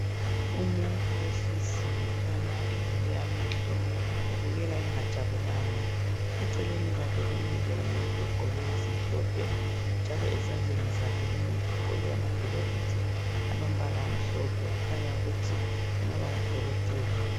Umuntu ohleziyo ekhanya evule amehlo ubukeka engajabulanga. Eceleni kwakhe kumile umuntu ogqoke ezimhlophe njalo ezandleni zakhe lumuntu ugqoke amagilovisi alombala amhlophe kukhanya ukuthi engaba ngudokotela.